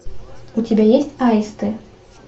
у тебя есть аисты